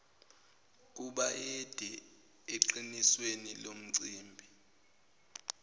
kubayede eqinisweni lomcimbi